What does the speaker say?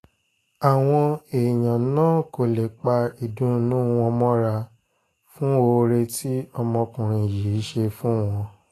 àwọn èèyàn náà kò lè pa ìdùnnú wọn mọ́ra fún oore tí ọmọkùnrin yìí ṣe fún wọn